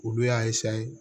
Olu y'a